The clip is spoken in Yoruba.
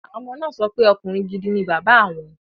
Àwọn ọmọ náà sọ pé ọkùnrin gidi ni bàbá awọn